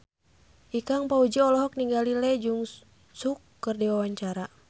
Ikang Fawzi olohok ningali Lee Jeong Suk keur diwawancara